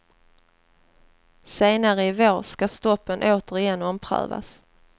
Senare i vår ska stoppen återigen omprövas.